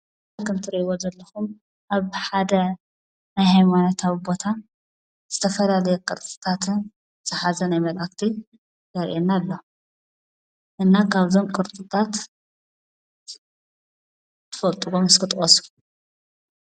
ከም እትሪእይዎ ዘለኩም ኣብ ሓደ ናይ ሃይማኖታዊ ቦታ ዝተፈላለየ ቅርፅታትን ዝሓዘ ናይ መላእክቲ የርእየና ኣሎ፡፡ እና ካብዞም ቅርፅታት እትፈልጥዎም እስኪ ጥቀሱ?